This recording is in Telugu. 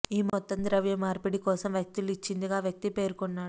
ఈ మొత్తం ద్రవ్య మార్పిడి కోసం వ్యక్తులు ఇచ్చిందిగా ఆ వ్యక్తి పేర్కొన్నాడు